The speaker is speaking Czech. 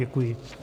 Děkuji.